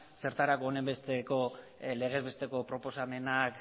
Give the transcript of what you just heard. zertarako onen besteko legez besteko proposamenak